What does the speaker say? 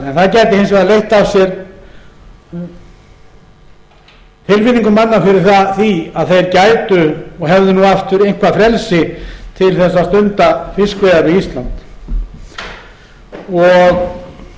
gæti hins vegar leitt af sér tilfinningu manna fyrir því að þeir gætu og hefðu aftur eitthvað frelsi til að stunda fiskveiðar við ísland þannig væri í raun